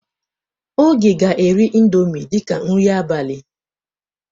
Oge ga-eri indọmii dịka nri abalị.